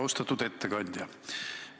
Austatud ettekandja!